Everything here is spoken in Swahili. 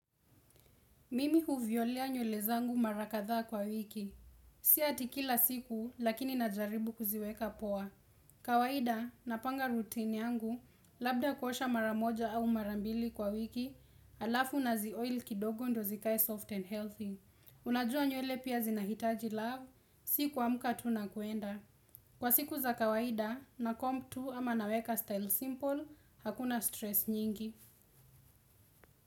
Mimi huviolea nyule zangu mara kadhaa kwa wiki. Sia ati kila siku, lakini najaribu kuziweka poa. Kawaida, napanga routine yangu, labda kuosha mara moja au mara mbili kwa wiki, alafu nazioil kidogo ndo zikae soft and healthy. Unajua nyule pia zinahitaji love, si kuamka tu nakuenda. Kwa siku za kawaida, nacomb tu ama naweka style simple, hakuna stress nyingi.